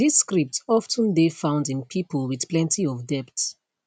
dis script of ten dey found in pipo wit plenti of debt